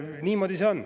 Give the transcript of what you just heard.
Niimoodi see on.